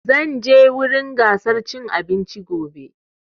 Zan je wurin gasar cin abinci gobe